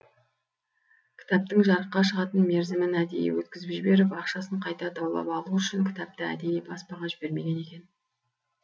кітаптың жарыққа шығатын мерзімін әдейі өткізіп жіберіп ақшасын қайта даулап алу үшін кітапты әдейі баспаға жібермеген екен